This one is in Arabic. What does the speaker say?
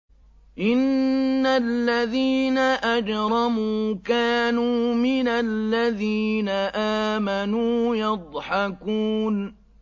إِنَّ الَّذِينَ أَجْرَمُوا كَانُوا مِنَ الَّذِينَ آمَنُوا يَضْحَكُونَ